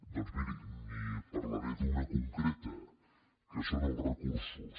doncs miri n’hi parlaré d’una concreta que són els recursos